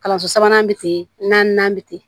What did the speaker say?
Kalanso sabanan bɛ ten naaninan bɛ ten